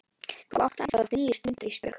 Þú átt ennþá eftir níu stundir Ísbjörg.